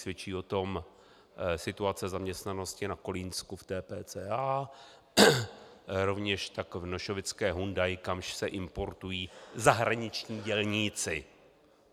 Svědčí o tom situace zaměstnanosti na Kolínsku v TPCA, rovněž tak v nošovické Hyundai, kamž se importují zahraniční dělníci.